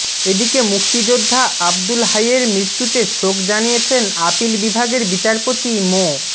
এদিকে মুক্তিযোদ্ধা আবদুল হাইয়ের মৃত্যুতে শোক জানিয়েছেন আপিল বিভাগের বিচারপতি মো